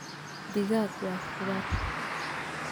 Digaag waa khudaar